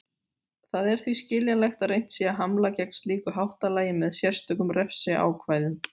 Það er því skiljanlegt að reynt sé að hamla gegn slíku háttalagi með sérstökum refsiákvæðum.